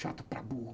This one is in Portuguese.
Chato para burro.